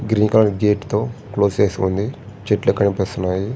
Green colour gate తో క్లోజ్ చేసి ఉంది. చెట్లు కనిపిస్తున్నాయి.